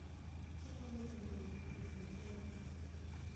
Okonyo e jiwo winjruok e kind pinje.